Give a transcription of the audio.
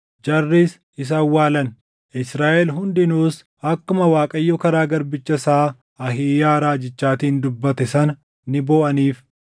Jarris isa awwaalan; Israaʼel hundinuus akkuma Waaqayyo karaa garbicha isaa Ahiiyaa raajichaatiin dubbate sana ni booʼaniif.